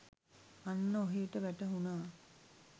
අන්න ඔහේට වැටහුණා